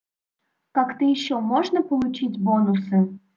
как-то ещё можно получить бонусы